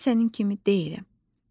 Mən sənin kimi deyiləm.